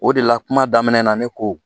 O de la kuma daminɛ na ne ko